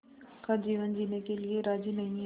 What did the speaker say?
का जीवन जीने के लिए राज़ी नहीं हैं